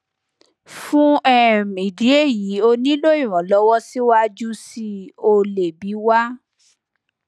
fún um ìdí èyí o nílò ìrànlọwọ síwájú síi o lè bi wá